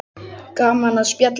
Gaman að spjalla við þig.